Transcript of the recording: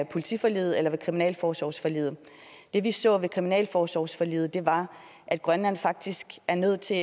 politiforliget eller kriminalforsorgsforliget det vi så ved kriminalforsorgsforliget var at grønland faktisk er nødt til